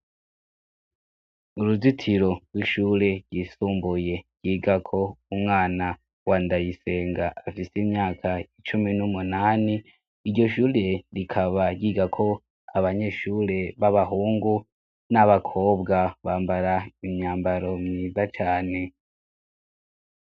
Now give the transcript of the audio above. Uruzitiro rw'ishure ryisumbuye ryiga ko umwana wa Ndayisenga afise imyaka icumi n'umunani, iryo shure rikaba ryiga ko abanyeshure b'abahungu n'abakobwa bambara imyambaro myiza cane.